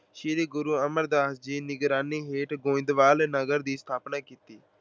ਸ਼੍ਰੀ ਗੁਰੂ ਅਮਰਦਾਸ ਜੀ ਦੀ ਨਿਗਰਾਨੀ ਹੇਠ ਗੋਇੰਦਵਾਲ ਨਗਰ ਦੀ ਸਥਾਪਨਾ ਕੀਤੀ।